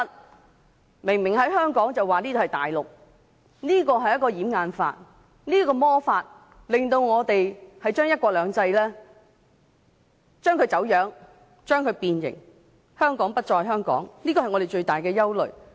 那裏明明是香港，卻被說成是大陸，這是一個掩眼法，這個魔法令我們的"一國兩制"原則變質、變形，令香港不再是香港，這是我們最大的憂慮。